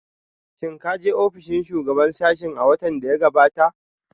Shin ka je ofishin shugaban sashen a watan da ya gabata?